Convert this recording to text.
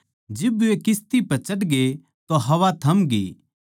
जिब वे किस्ती पै चढ़गे तो हवा थमगी